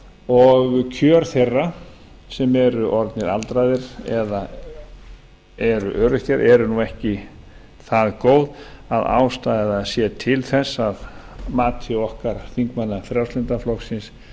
og kjör þeirra sem eru orðnir aldraðir eða eru öryrkjar eru nú ekki það góð að ástæða sé til þess að mati okkar þingmanna frjálslynda flokksins